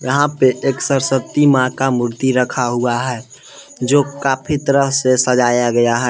यहां पे एक सरस्वती मां का मूर्ति रखा हुआ है जो काफी तरह से सजाया गया है।